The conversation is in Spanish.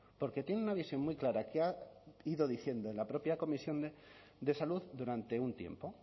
porque tiene una visión muy clara que ha ido diciendo en la propia comisión de salud durante un tiempo